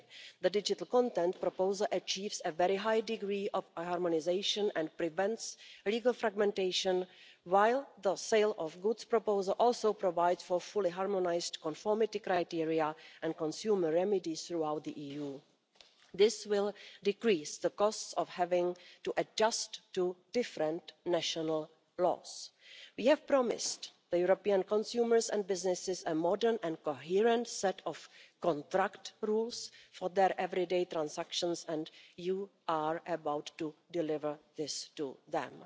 The digital content proposal achieves a very high degree of harmonisation and prevents legal fragmentation, while the sale of goods proposal also provides for fully harmonised conformity criteria and consumer remedies throughout the EU. This will decrease the costs of having to adjust to different national laws. We have promised European consumers and businesses a modern and coherent set of contract rules for their everyday transactions and you are about to deliver this to them.